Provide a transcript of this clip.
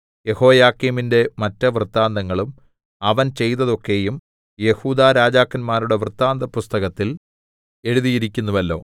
യെഹോയാക്കീമിന്റെ മറ്റ് വൃത്താന്തങ്ങളും അവൻ ചെയ്തതൊക്കെയും യെഹൂദാ രാജാക്കന്മാരുടെ വൃത്താന്തപുസ്തകത്തിൽ എഴുതിയിരിക്കുന്നുവല്ലോ